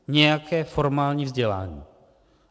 Nějaké formální vzdělání.